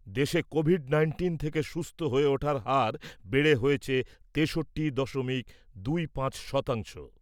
দেশে covid nineteen থেকে সুস্থ হয়ে ওঠার হার বেড়ে হয়েছে তেষট্টি দশমিক দুই পাঁচ শতাংশ।